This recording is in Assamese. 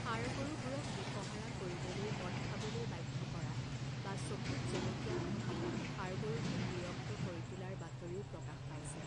ষাঁড় গৰুবোৰক দিশহাৰা কৰিবলৈ মদ খাবলৈ বাধ্য কৰা বা চকুত জলকীয়া ঘঁহি ষাঁড় গৰুটোক বিৰক্ত কৰি তোলাৰ বাতৰিও প্ৰকাশ পাইছে।